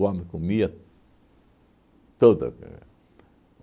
O homem comia tudo